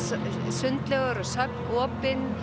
sundlaugar og söfn opin